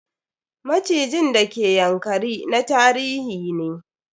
Macijin d ke Ynakari na tarihi ne.